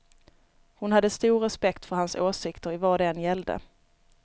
Hon hade stor respekt för hans åsikter i vad det än gällde.